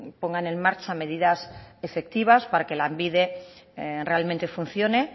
pongan en marcha medidas efectivas para que lanbide realmente funcione